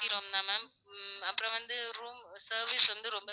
AC room தா ma'am உம் அப்புறம் வந்து room service வந்து ரொம்ப